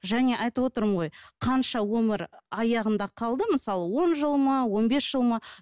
және айтып отырмын ғой қанша өмір аяғында қалды мысалы он жыл ма он бес жыл ма